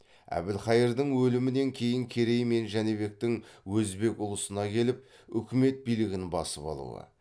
әбілхайырдың өлімінен кейін керей мен жәнібектің өзбек ұлысына келіп үкімет билігін басып алуы